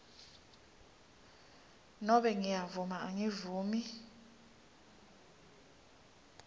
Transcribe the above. nobe ngiyavuma angivumi